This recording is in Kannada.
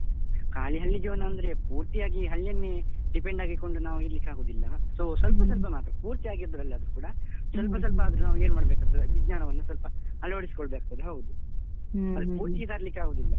ಖಾಲಿ ಹಳ್ಳಿಜೀವನ ಅಂದ್ರೆ ಪೂರ್ತಿಯಾಗಿ ಹಳ್ಳಿಯನ್ನೇ depend ಆಗಿಕೊಂಡು ನಾವು ಇರ್ಲಿಕ್ಕಾಗುವುದಿಲ್ಲ so ಸ್ವಲ್ಪ ಸ್ವಲ್ಪ ಮಾತ್ರ, ಪೂರ್ತಿಯಾಗಿದ್ರಲ್ಲದ್ದಿದ್ರೂ ಕೂಡ ಸ್ವಲ್ಪ ಸ್ವಲ್ಪಾದ್ರೂ ನಾವು ಏನ್ಮಾಡೇಕಾಗ್ತದೆ, ವಿಜ್ಞಾನವನ್ನ ಸ್ವಲ್ಪ ಅಳವಡಿಸಿಕೊಳ್ಬೇಕಾಗ್ತದೆ, ಹೌದು, ಪೂರ್ತಿ ತರ್ಲಿಕ್ಕೆ ಆಗುದಿಲ್ಲ.